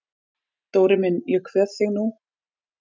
Dóri minn ég kveð þig nú.